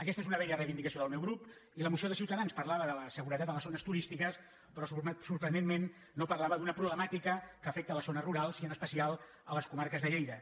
aquesta és una vella reivindicació del meu grup i la moció de ciutadans parlava de la seguretat a les zones turístiques però sorprenentment no parlava d’una problemàtica que afecta les zones rurals i en especial les comarques de lleida